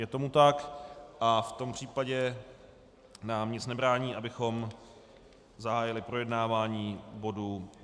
Je tomu tak a v tom případě nám nic nebrání, abychom zahájili projednávání bodu